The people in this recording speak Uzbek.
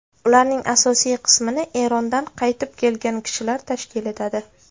Ularning asosiy qismini Erondan qaytib kelgan kishilar tashkil etadi.